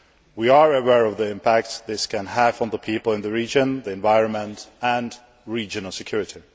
We are aware of the impacts this can have on the people in the region, the environment and regional security.